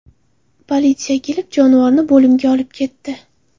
Politsiya kelib, jonivorni bo‘limga olib ketdi.